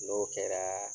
N'o kɛra